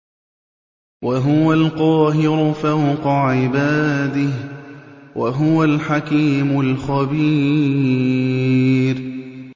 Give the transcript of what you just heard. وَهُوَ الْقَاهِرُ فَوْقَ عِبَادِهِ ۚ وَهُوَ الْحَكِيمُ الْخَبِيرُ